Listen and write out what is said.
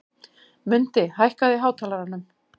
Mundi, hækkaðu í hátalaranum.